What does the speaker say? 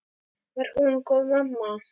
Var hún góð mamma?